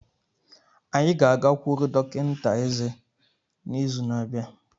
Anyị ga-agakwuru dọkịta eze n'izu na-abịa.